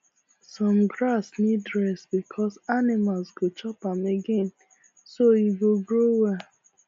some grass need rest before animals go chop am again so e go grow well